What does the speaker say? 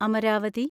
Amaravati